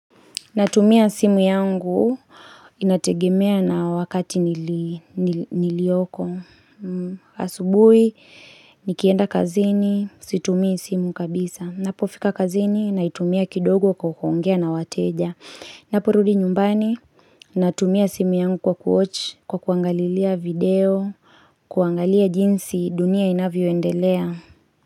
Natumia simu yangu inategemea na wakati nilioko. Asubui, nikienda kazini, situmii simu kabisa. Napo fika kazini, naitumia kidogo kuongea na wateja. Napo rudi nyumbani, natumia simu yangu kwa kuwatch, kwa kuangalilia video, kuangalia jinsi dunia inavyoendelea.